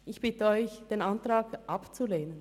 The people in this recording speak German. Ich bitte Sie, den Antrag abzulehnen.